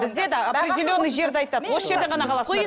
бізде де определенный жерді айтады осы жерден ғана аласыңдар